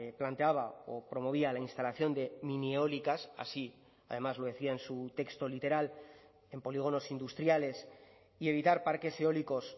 planteaba o promovía la instalación de minieólicas así además lo decía en su texto literal en polígonos industriales y evitar parques eólicos